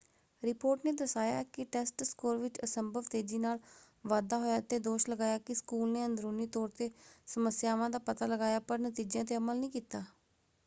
Report ਨੇ ਦਰਸਾਇਆ ਕਿ ਟੈਸਟ ਸਕੋਰ ਵਿੱਚ ਅਸੰਭਵ ਤੇਜ਼ੀ ਨਾਲ ਵਾਧਾ ਹੋਇਆ ਅਤੇ ਦੋਸ਼ ਲਗਾਇਆ ਕਿ ਸਕੂਲ ਨੇ ਅੰਦਰੂਨੀ ਤੌਰ 'ਤੇ ਸਮੱਸਿਆਵਾਂ ਦਾ ਪਤਾ ਲਗਾਇਆ ਪਰ ਨਤੀਜਿਆਂ 'ਤੇ ਅਮਲ ਨਹੀਂ ਕੀਤਾ।